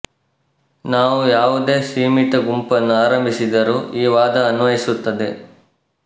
ನಾವು ಯಾವುದೇ ಸೀಮಿತ ಗುಂಪನ್ನು ಆರಂಭಿಸಿದರೂ ಈ ವಾದ ಅನ್ವಯಿಸುತ್ತದೆ